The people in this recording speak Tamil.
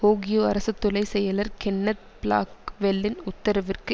ஓகியோ அரசுத்துளை செயலர் கென்னத் பிளாக்வெலின் உத்தரவிற்கு